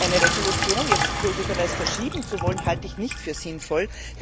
Die Resolution aber möglicherweise verschieben zu wollen, halte ich nicht für sinnvoll.